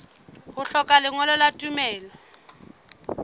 ho hlokeha lengolo la tumello